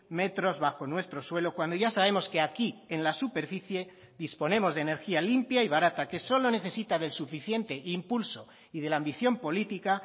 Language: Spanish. metros bajo nuestro suelo cuando ya sabemos que aquí en la superficie disponemos de energía limpia y barata que solo necesita del suficiente impulso y de la ambición política